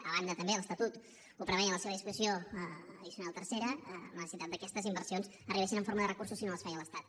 a banda també de l’estatut que ho preveia en la seva disposició addicional tercera la necessitat que aquestes inversions arribessin en forma de recursos si no les feia l’estat